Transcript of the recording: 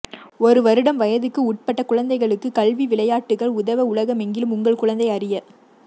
ஒரு வருடம் வயதுக்குட்பட்ட குழந்தைகளுக்கு கல்வி விளையாட்டுகள் உதவ உலகெங்கிலும் உங்கள் குழந்தை அறிய